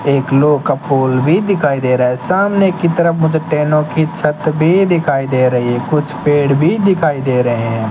एक लोह का पुल भी दिखाई दे रहा है सामने की तरफ मुझे टेनो की छत भी दिखाई दे रही है कुछ पेड़ भी दिखाई दे रहे हैं।